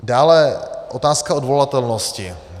Dále otázka odvolatelnosti.